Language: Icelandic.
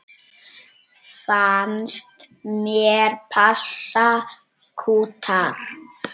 Fannst hér passa kútar.